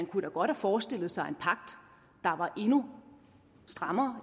kunne have forestillet sig en pagt der var endnu strammere